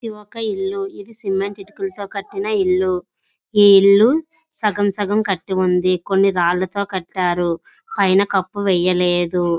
ఇది ఒక ఇళు ఇది సిమెంట్ ఇటుకులుతో కటిన ఇల్లు. ఈ ఇల్లు సగసగమ్ కటివుంది. కొన్ని రాళ్లతో కటిరూ పైనా కప్పు వెయ్యలేదు.